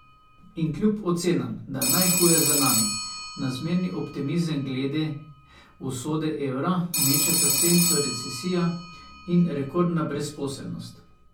In kljub ocenam, da je najhuje za nami, na zmerni optimizem glede usode evra mečeta senco recesija in rekordna brezposelnost.